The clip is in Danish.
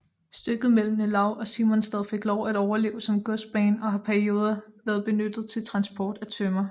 Stykket mellem Nelaug og Simonstad fik lov at overleve som godsbane og har perioder været benyttet til transport af tømmer